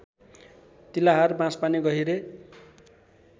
Tilahar Banspani गहिरे